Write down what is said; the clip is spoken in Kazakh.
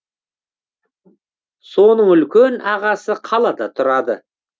соның үлкен ағасы қалада тұрады